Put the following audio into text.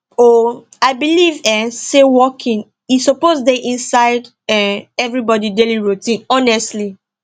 um i believe um say walking e suppose dey inside um everybody daily routine honestly